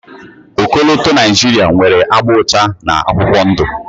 Ọkọlọtọ Naijiria nwere agba ụcha na akwụkwọ ndụ.